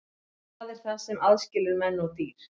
Hvað er það sem aðskilur menn og dýr?